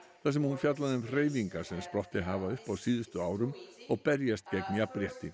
þar sem hún fjallaði um hreyfingar sem sprottið hafa upp á síðustu árum og berjast gegn jafnrétti